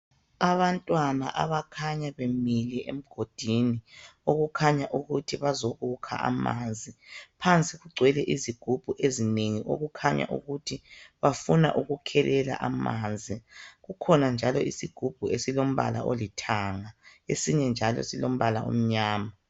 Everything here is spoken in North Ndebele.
Abantwana abakhanya bemile emgodini okukhanya ukuthi bazokukha amanzi phansi kugcwele izigubhu ezinengi okukhanya ukuthi bafuna ukukhelela amanzi. Kukhona njalo isigubhu esikhanya silombala olithanga esinye njalo silombala omnyama.